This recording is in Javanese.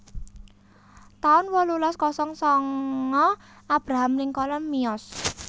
taun wolulas kosong sanga Abraham Lincoln miyos